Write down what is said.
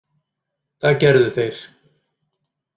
Það gerðu þeir.